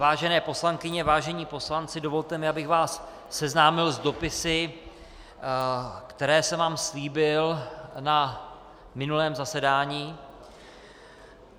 Vážené poslankyně, vážení poslanci, dovolte mi, abych vás seznámil s dopisy, které jsem vám slíbil na minulém zasedání.